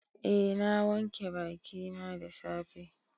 Eh na wanke bakina da safe.